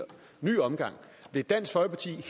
ny omgang vil dansk folkeparti